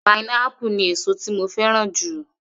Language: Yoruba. Pineapple ni èsó tí mo fẹ́ràn jù.